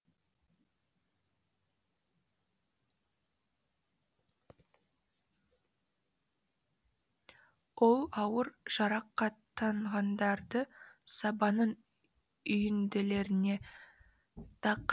ол ауыр жарақаттанғандарды сабанның үйінділеріне тыққыштап жасырған болатын